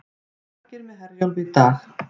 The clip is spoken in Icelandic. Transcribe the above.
Margir með Herjólfi í dag